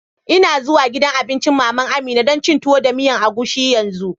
N'na zuwan gidan abincin mama'n Amina dan cin Tuwo da miyan agushi yanzu.